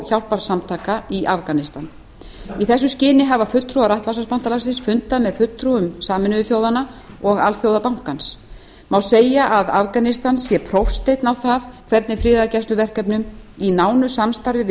hjálparsamtaka í afganistan í þessu skyni hafa fulltrúar atlantshafsbandalagsins fundað með fulltrúum sameinuðu þjóðanna og alþjóðabankans má segja að afganistan sé prófsteinn á það hvernig friðargæsluverkefnum í nánu samstarfi við